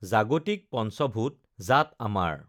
জাগতিক পঞ্চভূত জাত আমাৰ